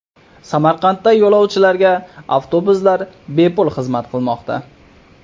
Samarqandda yo‘lovchilarga avtobuslar bepul xizmat qilmoqda.